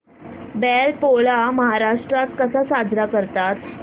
बैल पोळा महाराष्ट्रात कसा साजरा करतात